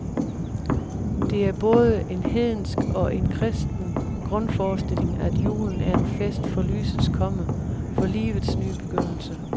Det er både en hedensk og en kristen grundforestilling, at julen er en fest for lysets komme, for livets ny begyndelse.